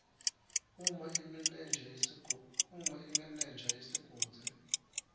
uma imenenja yesigodzi